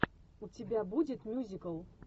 у тебя будет мюзикл